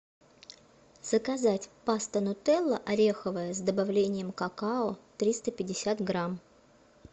заказать паста нутелла ореховая с добавлением какао триста пятьдесят грамм